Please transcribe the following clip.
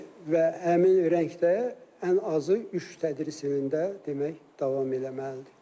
Və həmin rəngdə ən azı üç tədris ilində demək davam eləməlidir.